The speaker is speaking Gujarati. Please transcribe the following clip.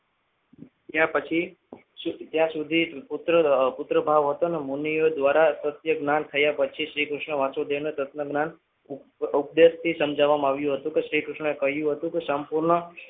થયા પછી ત્યાં સુધી પુત્ર ભાવ હતો અને મુનિઓ દ્વારા દ્વિતીય જ્ઞાન થયા પછી શ્રીકૃષ્ણએ વાસુદેવને તત્વજ્ઞાન ઉપદેશથી સમજાવવામાં આવ્યું હતું કે શ્રીકૃષ્ણએ કહ્યું હતું કે સંપૂર્ણ